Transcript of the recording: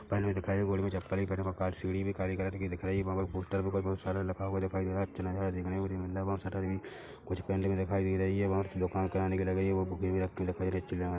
पहने हुए दिखाई हुए गोड़ में चप्पल भी पहने हुए वहाँ सीढ़ी भी काली कलर की दिख रही है वहाँ पे पोस्टर पे कुछ बहुत सारा लखा हुआ दिखाई दे रहा है अच्छा नज़ारा देखने को न मिल रहा है वहाँ शटर भी कुछ पेंटिंग दिखाई दे रही है वहाँ दुकान कराने के लिए गयी है वहाँ बुके भी रखी हुई दिखाई दे अच्छी है।